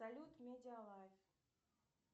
салют медиа лайф